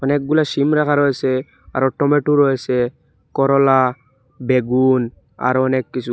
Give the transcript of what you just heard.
অনেকগুলা সিম রাখা রয়েসে আরো টমেটো রয়েসে করলা বেগুন আরো অনেক কিছু।